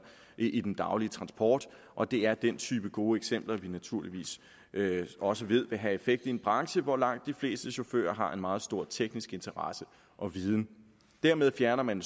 i den daglige transport og det er den type gode eksempler vi naturligvis også ved vil have effekt i en branche hvor langt de fleste chauffører har en meget stor teknisk interesse og viden dermed fjerner man